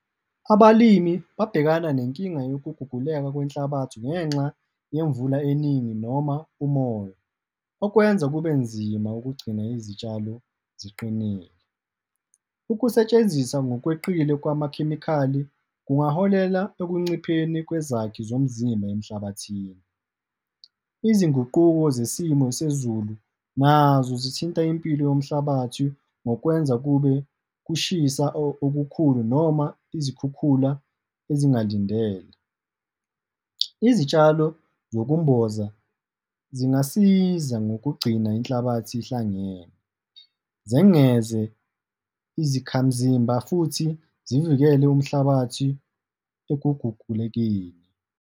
Abalimi babhekana nenkinga yokuguguleka kwenhlabathi, ngenxa yemvula eningi noma umoya, okwenza kube nzima ukugcina izitshalo ziqinile. Ukusetshenziswa ngokweqile kwamakhemikhali kungaholela ekuncipheni kwezakhi zomzimba emhlabathini. Izinguquko zesimo sezulu nazo zithinta impilo yomhlabathi ngokwenza kube kushisa okukhulu noma izikhukhula ezingalindele. Izitshalo zokumboza zingasiza ngokugcina inhlabathi ihlangene, zengeze izakhamzimba futhi zivikele umhlabathi ekuguqulekeni.